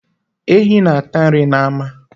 Ehi na-ata nri n'ama.